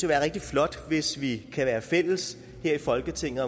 være rigtig flot hvis vi kan være fælles her i folketinget